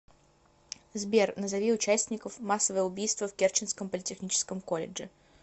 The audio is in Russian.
сбер назови участников массовое убийство в керченском политехническом колледже